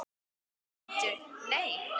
Eða bíddu, nei.